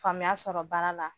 Faamuya sɔrɔ baara la